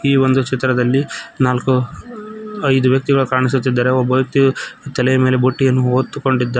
ಈ ಒಂದು ಚಿತ್ರದಲ್ಲಿ ನಾಲ್ಕು ಐದು ವ್ಯಕ್ತಿ ಕಾಣಿಸುತ್ತಿದ್ದಾರೆ ಒಬ್ಬ ವ್ಯಕ್ತಿ ತಲೆಯ ಮೇಲೆ ಬುಟ್ಟಿಯನ್ನು ಹೊತ್ತು ಕೊಂಡಿ --